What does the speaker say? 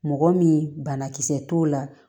Mɔgɔ min banakisɛ t'o la